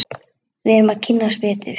Við verðum að kynnast betur.